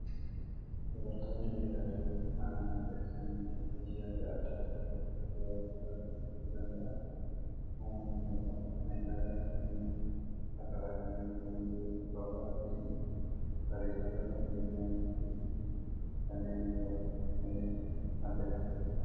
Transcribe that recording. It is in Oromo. Dubartoonni meeshaalee mana miidhagsanii fi hojii adda addaa keessatti shoora guddaa taphachuu danda'an uumuu ni danda'u. Meeshaaleen kunneen akka fakkeenyaatti gundoo, qorxii, bareechituu keenyanii fi kanneen biroodha. Innis madda galii ni ta'a.